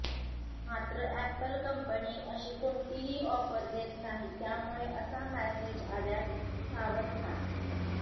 मात्र Apple company अशी कोणतीही ऑफर देत नाही त्यामुळे असा मेसेज आल्यास सावध व्हा